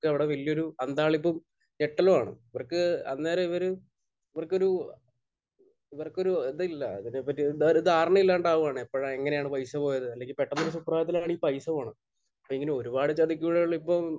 അവിടെ വലിയ ഒരു അന്താളിപ്പും ഞെട്ടലുമാണ്. ഇവർക്ക് അന്നേരം ഇവർ ഇവർക്കൊരു ഇവർക്കൊരു എന്താ ഇല്ല അതിനെ പറ്റി ഒരു ധാരണയില്ലാതെയാവുകയാണ്. എപ്പോഴാണ്? എങ്ങനെയാണ് പൈസ പോയത്? അല്ലെങ്കിൽ പെട്ടെന്നൊരു സുപ്രഭാതത്തിലാണ് ഈ പൈസ പോകുന്നത്. അതുപോലുള്ള ഒരുപാട് ചതിക്കുഴികൾ ഇപ്പോൾ